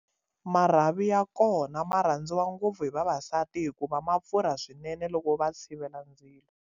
Marhavi ya kona ma rhandziwa ngopfu hi vavasati hikuva ma pfurha swinene loko va tshivela ndzilo.